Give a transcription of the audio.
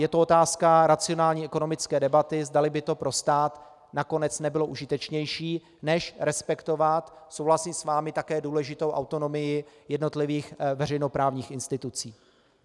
Je to otázka racionální ekonomické debaty, zdali by to pro stát nakonec nebylo užitečnější než respektovat, souhlasím s vámi, také důležitou autonomii jednotlivých veřejnoprávních institucí.